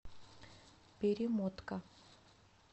перемотка